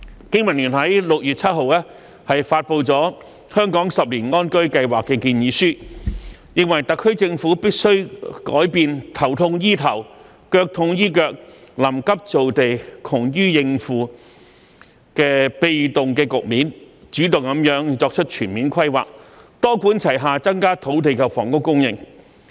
經民聯於6月7日發布了《香港十年安居計劃》建議書，認為特區政府必須改變"頭痛醫頭，腳痛醫腳、臨急造地、窮於應付"的被動局面，主動作出全面規劃，多管齊下增加土地及房屋供應。